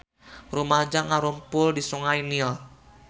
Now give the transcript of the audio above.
Rumaja ngarumpul di Sungai Nil